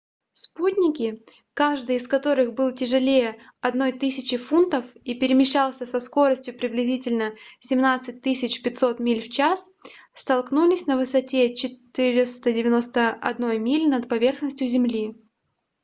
спутники каждый из которых был тяжелее 1 000 фунтов и перемещался со скоростью приблизительно 17 500 миль в час столкнулись на высоте 491 мили над поверхностью земли